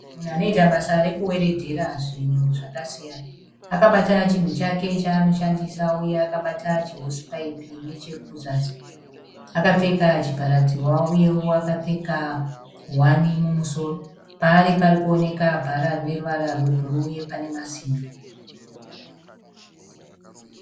Munhu anoita basa rekuwedhera zvinhu zvakasiyana. Akabata chinhu chake chaanoshandisa uye akabata chihosipaipi nechekuzasi. Akapfeka chivhara dzihwa uyewo akapfeka nguwani mumusoro. Paari parikuoneka bhara rebhuruu nepane masimbi.